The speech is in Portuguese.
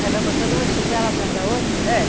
Aí vai botando uma tigela atrás da outra? É.